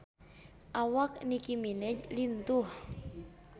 Awak Nicky Minaj lintuh